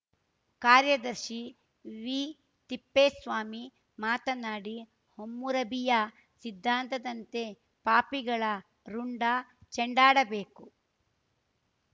ಕಾರ್ಯದರ್ಶಿ ವಿತಿಪ್ಪೇಸ್ವಾಮಿ ಮಾತನಾಡಿ ಹಮ್ಮುರಬಿಯ ಸಿದ್ಧಾಂತದಂತೆ ಪಾಪಿಗಳ ರುಂಡ ಚೆಂಡಾಡಬೇಕು